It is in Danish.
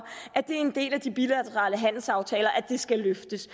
at det er en del af de bilaterale handelsaftaler at det skal løftes